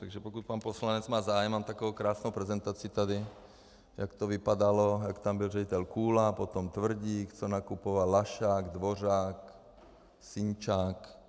Takže pokud pan poslanec má zájem, mám takovou krásnou prezentaci tady, jak to vypadalo, jak tam byl ředitel Kůla, potom Tvrdík, co nakupoval, Lašák, Dvořák, Sinčák...